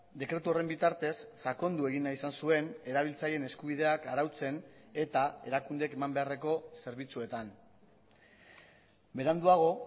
dekretu horren bitartez sakondu egin nahi izan zuen erabiltzaileen eskubideak arautzen eta erakundeek eman beharreko zerbitzuetan beranduago